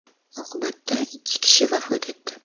Oqibatda ikki kishi vafot etdi.